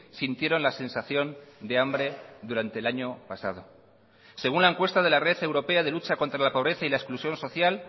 sintieron la sensación de hambre durante el año pasado según la encuesta de la red europea de lucha contra la pobreza y la exclusión social